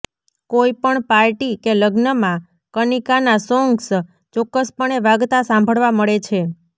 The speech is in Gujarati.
કોઈ પણ પાર્ટી કે લગ્નમાં કનિકાના સોન્ગ્સ ચોક્કસ પણે વાગતા સાંભળવા મળે છે